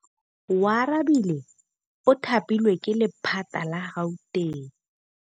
Oarabile o thapilwe ke lephata la Gauteng.